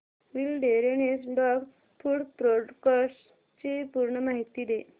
wilderness dog food products ची पूर्ण माहिती दे